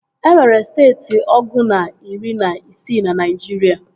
E nwere steeti ọgụ na iri na isii na Naịjirịa